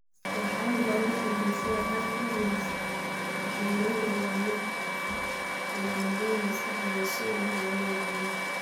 Marxaladda ugu dambeysa ee Alzheimers, waxyeelladu waa mid baahsan, iyo unugyada maskaxdu si weyn ayay u yaraadeen.